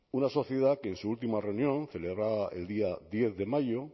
una sociedad que en su última reunión celebrada el día diez de mayo